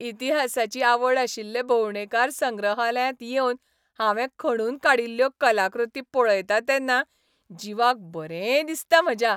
इतिहासाची आवड आशिल्ले भोंवडेकार संग्रहालयांत येवन हांवें खणून काडिल्ल्यो कलाकृती पळयतां तेन्ना जिवाक बरें दिसता म्हज्या.